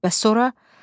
Bəs sonra?